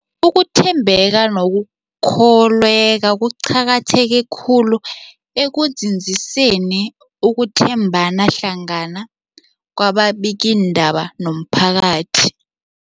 Ukuthembeka nokukholweka kuqakatheke khulu ekunzinziseni ukuthembana hlangana kwababikiindaba nomphakathi.